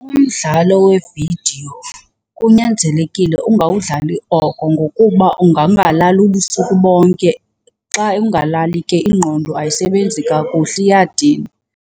Umdlalo wevidiyo kunyanzelekile ungawudlali oko ngokuba ungangalali ubusuku bonke. Xa ungalali ke ingqondo ayisebenzi kakuhle iyadinwa.